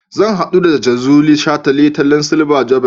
Zan haɗu da Jazuli a shataletalen silver jubilee.